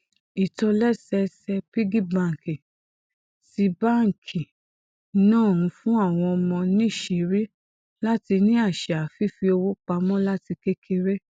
ìtòlésẹẹsẹ piggy bank ti báńkì náà ń fún àwọn ọmọ níṣìírí láti ní àṣà fífi owó pa mó láti kékeré